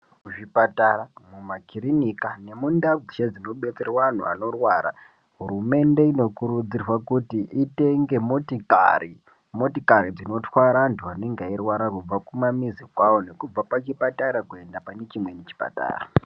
Kuzvipatara nemumakirinika mundau dzeshe dzinodetserwa anthu anorwara hurumende inokurudzirwa kuti itenge motikari motikari dzinotwara anthu anenge eirwara kubva kumamizi kwao nekubva pachipatara kuenda pane chimweni chipatara.